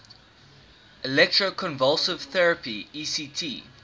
electroconvulsive therapy ect